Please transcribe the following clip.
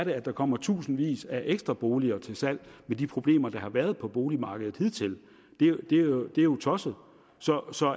at der kommer tusindvis af ekstra boliger til salg med de problemer der har været på boligmarkedet hidtil det er jo tosset så så